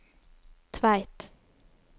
Tveit